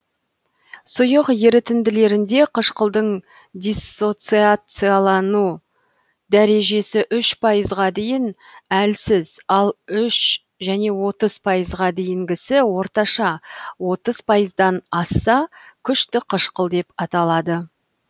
сұйық ерітінділерінде қышқылдың диссоциациялану дәрежесі үш пайызға дейін әлсіз ал үш және отыз пайызға дейінгісі орташа отыз пайыздан асса күшті қышқыл деп аталады